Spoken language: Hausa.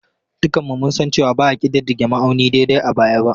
Dukanmu mun san cewa ba a ƙididdige ma'auni daidai a baya ba.